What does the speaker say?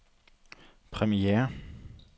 premiere